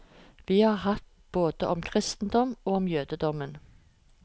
Vi har hatt både om kristendommen og om jødedommen.